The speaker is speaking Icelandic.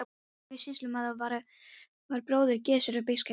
Þorlákur sýslumaður var bróðir Gissurar biskups Einarssonar.